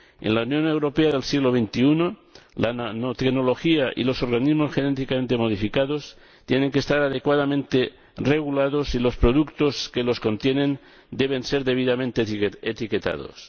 En la Unión Europea del siglo XXI, la nanotecnología y los organismos genéticamente modificados tienen que estar adecuadamente regulados y los productos que los contienen deben ser debidamente etiquetados.